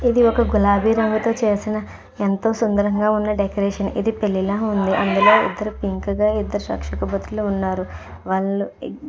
ఇది ఒక గులాబీ రంగుతో చేసిన ఎంతో సుందరంగా ఉన్న డెకరేషన్ ఇది పెళ్లిలా ఉంది. అందులో ఇద్దరికి పింక్ గా ఇద్దరు రక్షక భటులు ఉన్నారు. వాళ్ళు --